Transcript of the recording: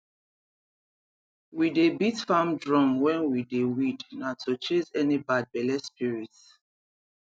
we dey beat farm drum when we dey weed na to chase any bad belle spirit